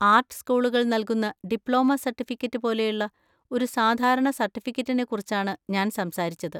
Art സ്കൂളുകൾ നൽകുന്ന diploma certificate പോലെയുള്ള ഒരു സാധാരണ സർട്ടിഫിക്കറ്റിനെക്കുറിച്ചാണ് ഞാൻ സംസാരിച്ചത്.